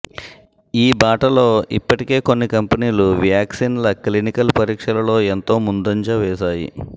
ఈ బాటలో ఇప్పటికే కొన్ని కంపెనీలు వ్యాక్సిన్ల క్లినికల్ పరీక్షలలో ఎంతో ముందంజ వేశాయి